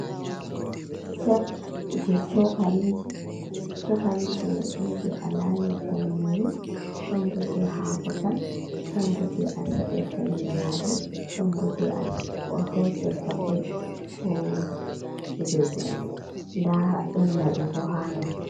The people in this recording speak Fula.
Set je chokaliji mai don je a layirta nyeri, don boje hako tan don boje a sa’irta gerade don boje a hosirta koi be kujeji ɗon da don labi bo ha ndar.